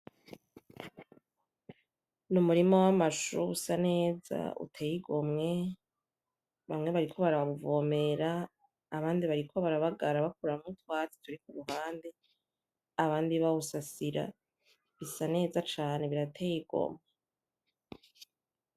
Nu murima w amashu usa neza uteye igomwe bamwe bariko barawuvomera abandi babagara bakuraho utwatsi turi kuruhande abandi bawusasira bisa neza cane birateye igomwe